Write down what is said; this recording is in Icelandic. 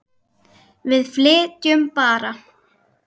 Við flytjum bara!